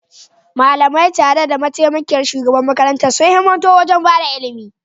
Malamai, tare da mataimakiyar shugaban makarantar, sun himmatu wajen ba da ilimi